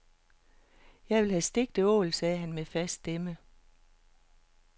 Jeg vil have stegt ål, sagde han med fast stemme.